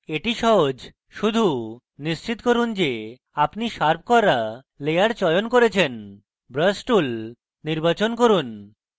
easy সহজ শুধু নিশ্চিত করুন যে আপনি শার্প করা layer চয়ন করেছেন brush tool নির্বাচন করুন